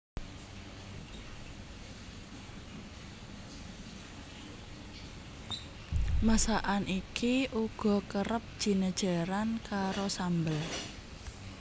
Masakan iki uga kerep jinejeran karo sambel